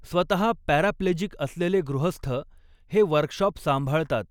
स्वतः पॅराप्लेजिक असलेले गृहस्थ हे वर्कशॉप सांभाळतात.